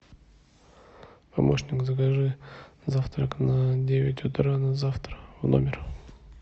помощник закажи завтрак на девять утра на завтра в номер